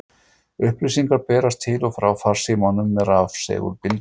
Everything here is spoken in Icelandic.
Upplýsingar berast til og frá farsímum með rafsegulbylgjum.